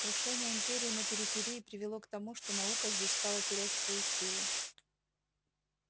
крушение империи на периферии привело к тому что наука здесь стала терять свою силу